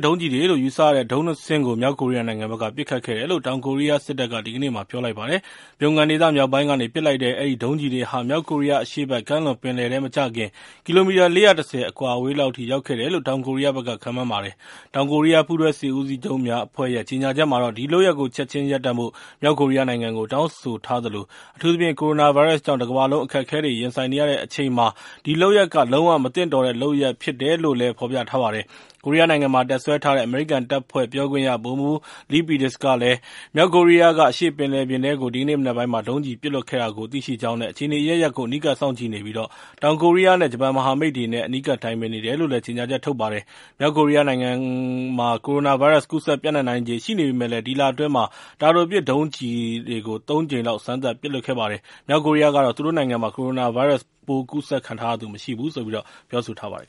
ဒုံးကျည်တွေလို့ ယူဆရတဲ့ ဒုံးကျည် ၂ စင်းကို မြောက်ကိုရီးယားနိုင်ငံက ပစ်ခတ်ခဲ့တယ်လို့ တောင်ကိုရီးယားစစ်တပ်က ဒီကနေ့မှာ ပြောလိုက်ပါတယ်။ Pyongan ဒေသမြောက်ပိုင်းကနေ ပစ်လိုက်တဲ့ အဲဒီဒုံးကျည်တွေဟာ မြောက်ကိုရီးယား အရှေ့ဘက်ကမ်းလွန် ပင်လယ်ထဲ မကျခင် ကီလိုမီတာ ၄၁၀ အကွာအဝေးလောက် ရောက်ခဲ့တယ်လို့လည်း တောင်ကိုရီးယားက ခန့်မှန်းပါတယ်။ တောင်ကိုရီးယား ပူးတွဲစစ်ဦးစီးချုပ်များအဖွဲ့ရဲ့ ကြေညာချက်မှာတော့ ဒီလုပ်ရပ်ကို ချက်ချင်းရပ်ဖို့ မြောက်ကိုရီးယားနိုင်ငံကို တောင်းဆိုထားသလို အထူးသဖြင့် ကိုရိုနာဗိုင်းရပ်စ်ကြောင့် တကမ္ဘာလုံး အခက်အခဲတွေ ရင်ဆိုင်နေရတဲ့အချိန်မှာ ဒီလုပ်ရပ်က လုံး၀ မသင့်တော်တဲ့လုပ်ရပ် ဖြစ်တယ်လို့လည်း ဖော်ပြထားပါတယ်။ ကိုရီးယားနိုင်ငံမှာ တပ်စွဲထားတဲ့ အမေရိကန်တပ်ဖွဲ့ ပြောခွင့်ရ ဗိုလ်မှူး Lee Peters ကလည်း မြောက်ကိုရီးယားက အရှေ့ဘက်ပင်လယ်ပြင်ထဲကို ဒီကနေ့မနက်ပိုင်းမှာ ဒုံးကျည်ပစ်လွှတ်ခဲ့တာကို သိရှိကြောင်းနဲ့ အခြေအနေ အရပ်ရပ်ကို အနီးကပ် စောင့်ကြည့်နေပြီး တောင်ကိုရီးယားနဲ့ ဂျပန် မဟာမိတ်တွေနဲ့ အနီးကပ် တိုင်ပင်နေပါတယ်လို့လည်း ကြေညာချက် ထုတ်ပြန်ခဲ့ပါတယ်။ မြောက်ကိုရီးယားနိုင်ငံမှာ ကိုရိုနာဗိုင်းရပ်စ် ကူးစက်ပျံ့နှံ့နိုင်ခြေ ရှိနေပေမယ့်လည်း ဒီလအတွင်း တာတိုပစ်ဒုံးကျည်တွေ ၃ ကြိမ် စမ်းသပ်ပစ်လွှတ်ခဲ့ပါတယ်။ မြောက်ကိုရီးယားကတော့ သူ့နိုင်ငံမှာ ကိုရိုနာဗိုင်းရပ်စ်ပိုး ကူးစက်ခံထားရသူ မရှိဘူးလို့ ပြောဆိုထားပါတယ်